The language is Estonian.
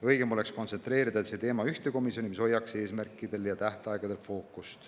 Õigem oleks kontsentreerida see teema ühte komisjoni, mis hoiaks fookust eesmärkidel ja tähtaegadel.